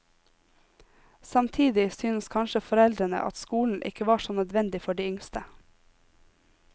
Samtidig syntes kanskje foreldrene at skolen ikke var så nødvendig for de yngste.